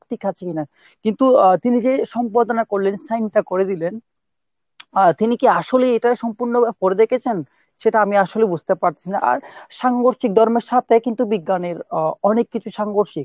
ঠিক আছে কিনা। কিন্তু আহ তিনি যে সম্পাদনা করলেন sign টা করে দিলেন আহ তিনি কি আসলেই এটা সম্পূর্ণ পড়ে দেখেছেন? সেটা আমি আসলেই বুঝতে পারতেছি না আর সাংঘর্ষিক ধর্মের সাথে কিন্তু বিজ্ঞানের আহ সাংঘর্ষিক